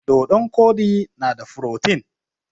Dodon koɗi na da furotin